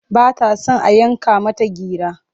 Ba ta son a yanka mata gira.